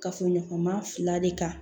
Kafoɲɔgɔnma fila de kan